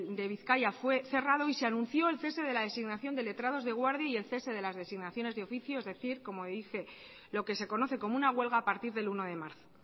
de bizkaia fue cerrado y se anunció el cese de la designación de letrados de guardia y el cese de las designaciones de oficio es decir como dije lo que se conoce como una huelga a partir del uno de marzo